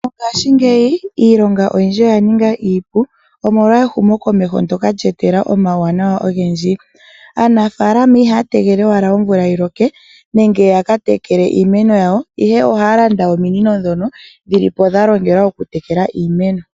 Mongaashingeyi iilonga oyindji oya ninga iipu omolwa ehumokomeho nsoka lya etelela omawuwanawa ogendji. Aanafaalama ihaya tegelele owala omvula yiloke nenge ya katekele iimeno yawo ihe ohaya landa ominino ndhono dhilipo dha longelwa oku tekela iimeno.